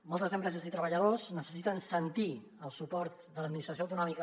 moltes empreses i treballadors necessiten sentir el suport de l’administració autonòmica